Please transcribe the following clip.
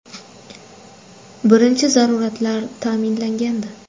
Birinchi zaruratlar ta’minlangandi.